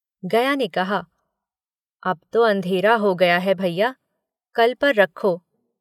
गया ने कहा अब तो अंधेरा हो गया है भैया कल पर रखो।